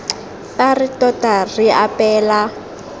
fa re tota re apeela